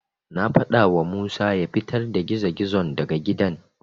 Na faɗawa Musa ya fitar da gizo-gizon daga gidan.